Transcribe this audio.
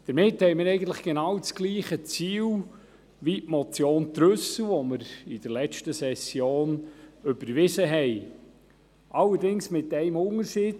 Damit wollen wir dasselbe Ziel erreichen wie die Motion Trüssel , welche wir in der letzten Session überwiesen haben, allerdings mit einem Unterschied.